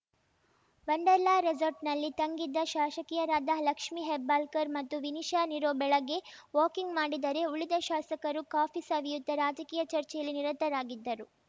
wonder ಲಾ ರೆಸಾರ್ಟ್‌ನಲ್ಲಿ ತಂಗಿದ್ದ ಶಾಶಕಿಯರಾದ ಲಕ್ಷ್ಮೀ ಹೆಬ್ಬಾಳ್ಕರ್‌ ಮತ್ತು ವಿನಿಶಾ ನಿರೋ ಬೆಳಗ್ಗೆ ವಾಕಿಂಗ್‌ ಮಾಡಿದರೆ ಉಳಿದ ಶಾಸಕರು ಕಾಫಿ ಸವಿಯುತ್ತಾ ರಾಜಕೀಯ ಚರ್ಚೆಯಲ್ಲಿ ನಿರತರಾಗಿದ್ದರು